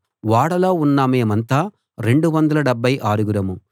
ఓడలో ఉన్న మేమంతా రెండు వందల డెబ్భై ఆరుగురం